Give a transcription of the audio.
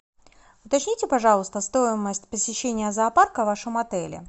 уточните пожалуйста стоимость посещения зоопарка в вашем отеле